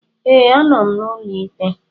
Ee, anọ m n'ụlọ ikpe